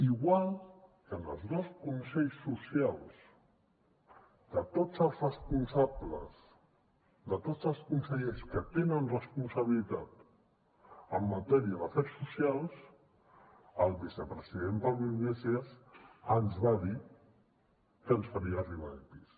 igual que en els dos consells socials de tots els responsables de tots els consellers que tenen responsabilitats en matèria d’afers socials el vicepresident pablo iglesias ens va dir que ens faria arribar epis